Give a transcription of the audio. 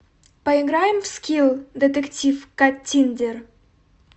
поиграем в скилл детектив каттиндер